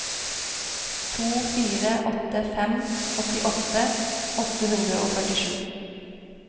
to fire åtte fem åttiåtte åtte hundre og førtisju